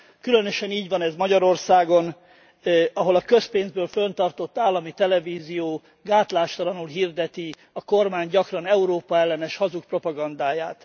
Különösen így van ez Magyarországon, ahol a közpénzből fönntartott állami televízió gátlástalanul hirdeti a kormány gyakran Európa ellenes, hazug propagandáját.